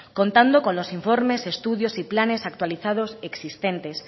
contando con los informes estudios y planes actualizados existentes